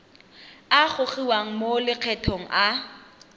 a gogiwang mo lokgethong a